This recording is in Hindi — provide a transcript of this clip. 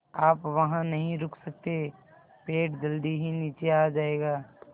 आप वहाँ नहीं रुक सकते पेड़ जल्दी ही नीचे आ जाएगा